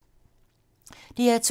DR2